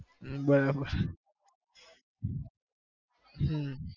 બરોબર